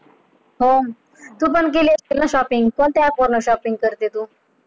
तू पण केली असशील ना shopping? कोणत्या app वरून shopping करते तू?